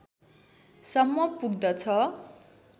सम्म पुग्दछ